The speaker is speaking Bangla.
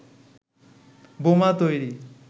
বোমা তৈরি